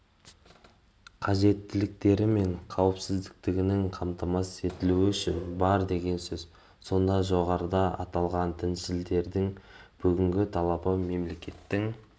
қажеттіліктері мен қауіпсіздігінің қамтамасыз етілуі үшін бар деген сөз сонда жоғарыда аталғандіншілдердің бүгінгі талабы мемлекеттің